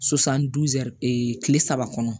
kile saba kɔnɔ